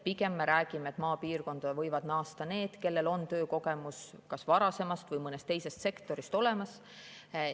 Pigem me räägime, et maapiirkonda võivad need, kellel on olemas töökogemus kas varasemast või mõnest teisest sektorist.